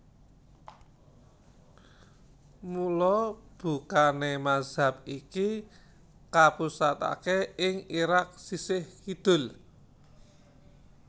Mula bukané mazhab iki kapusataké ing Irak sisih kidul